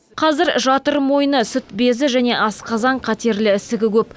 қазір жатыр мойны сүт безі және асқазан қатерлі ісігі көп